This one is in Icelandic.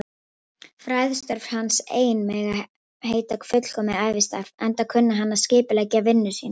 Fræðistörf hans ein mega heita fullkomið ævistarf, enda kunni hann að skipuleggja vinnu sína.